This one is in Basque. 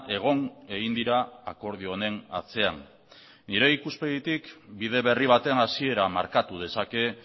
egon egin dira akordio honen atzean nire ikuspegitik bide berri baten hasiera markatu dezake